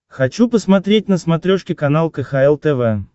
хочу посмотреть на смотрешке канал кхл тв